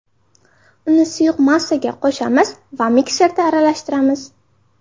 Uni suyuq massaga qo‘shamiz va mikserda aralashtiramiz.